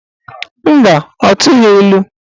Mba, ọ tụghị ilu.